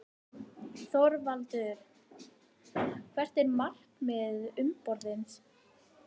ÞORVALDUR: Hvert er markmið umboðsins?